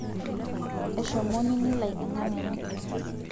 eshomo nini lai enkang' enye